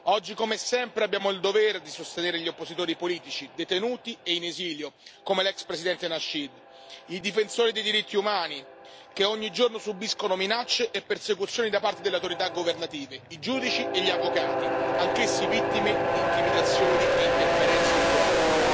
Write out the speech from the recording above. Oggi, come sempre, abbiamo il dovere di sostenere gli oppositori politici detenuti e in esilio, come l'ex Presidente Nasheed, i difensori dei diritti umani che ogni giorno subiscono minacce e persecuzioni da parte delle autorità governative, i giudici e gli avvocati, anch'essi vittime di intimidazioni e interferenze improprie.